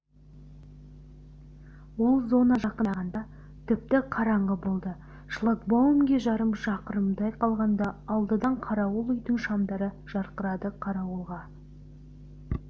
ол зонаға жақындағанда тіпті қараңғы болды шлагбаумге жарым шақырымдай қалғанда алдыдан қарауыл үйдің шамдары жарқырады қарауылға